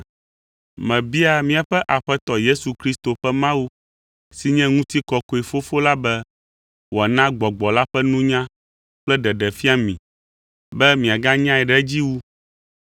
Mebiaa míaƒe Aƒetɔ Yesu Kristo ƒe Mawu si nye ŋutikɔkɔe Fofo la be wòana Gbɔgbɔ la ƒe nunya kple ɖeɖefia mi be miaganyae ɖe edzi wu.